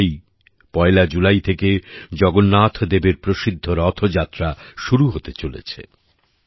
কয়েকদিন পরেই পয়লা জুলাই থেকে জগন্নাথ দেবের প্রসিদ্ধ রথযাত্রা শুরু হতে চলেছে